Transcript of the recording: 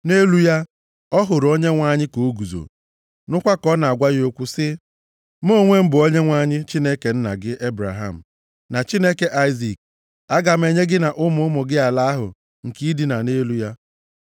Nʼelu ya, ọ hụrụ Onyenwe anyị ka o guzo, nụkwa ka ọ na-agwa ya okwu sị, “Mụ onwe m bụ Onyenwe anyị, Chineke nna gị Ebraham, na Chineke Aịzik. Aga m enye gị na ụmụ ụmụ gị ala ahụ nke i dina nʼelu ya.